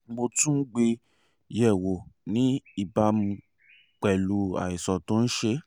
mo tún gbé e yẹ̀wò ní ìbámu pẹ̀lú àìsàn tó ń ṣe ẹ́